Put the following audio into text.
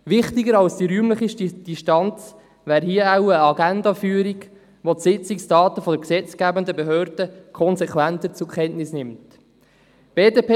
Wichtiger als die räumliche Distanz wäre hier wohl eine Agendaführung, bei der die Sitzungsdaten der gesetzgebenden Behörde konsequent zur Kenntnis genommen werden.